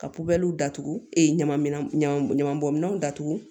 Ka puwali datugu e ɲama ɲama ɲamanbɔn minɛnw datugu